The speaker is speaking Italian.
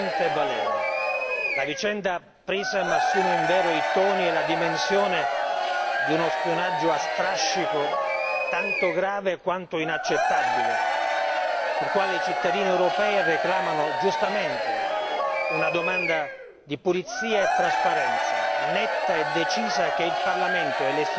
La vicenda PRISM assume in vero i toni e le dimensioni di uno spionaggio a strascico, tanto grave quanto inaccettabile sul quale i cittadini europei reclamano giustamente una domanda di pulizia e trasparenza netta e decisa che il Parlamento e le istituzioni insieme